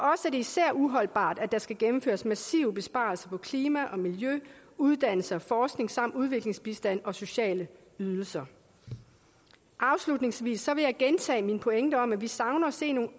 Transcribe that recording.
især uholdbart at der skal gennemføres massive besparelser på klima og miljø uddannelse og forskning samt udviklingsbistand og sociale ydelser afslutningsvis vil jeg gentage min pointe om at vi savner at se nogle